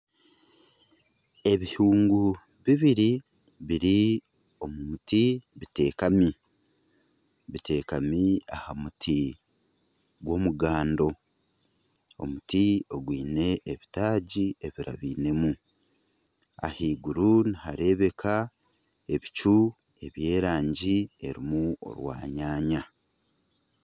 Ebihungu bibiri biri omu muti biteekami, biteekami aha muti gw'omugando, omuti ogwine ebitaagi ebirabainemu ahaiguru nihareebeka ebicu eby'erangi erimu orwanyanya.